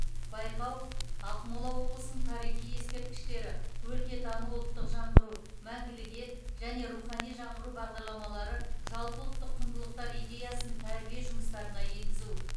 байқау ақмола облысының тарихи ескерткіштері өлкетану ұлттық жаңғыру мәңгілік ел және рухани жаңғыру бағдарламалары жалпыұлттық құндылықтар идеясын тәрбие жұмыстарына енгізу